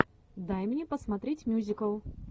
дай мне посмотреть мюзикл